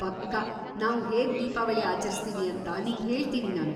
ಪಕ್ಕಾ, ನಾವು ಹೇಗ್ ದೀಪಾವಳಿ ಆಚರಿಸ್ತೀವಿ ಅಂತ ನಿಂಗ್ಹೇಳ್ತೀನಿ ನಾನು.